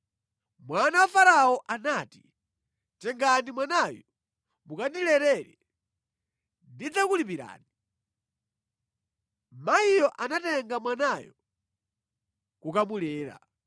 Mwana wa Farao anati, “Tengani mwanayu mukandilerere, ndidzakulipirani.” Mayiyo anatenga mwanayo kukamulera.